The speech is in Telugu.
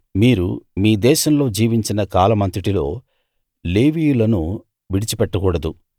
మీరు మీ దేశంలో జీవించిన కాలమంతటిలో లేవీయులను విడిచిపెట్టకూడదు